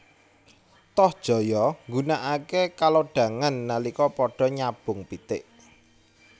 Tohjaya nggunakaké kalodhangan nalika padha nyabung pitik